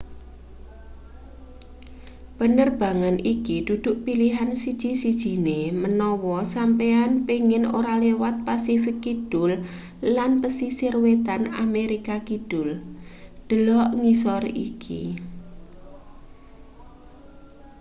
penerbangan iki dudu pilihan siji-sijine menawa sampeyan pengin ora liwat pasifik kidul lan pesisir wetan amerika kidul. delok ngisor iki